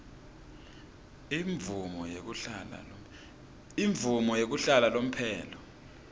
imvumo yekuhlala lomphelo